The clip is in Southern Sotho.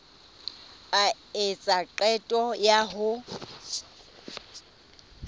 a etsa qeto ya ho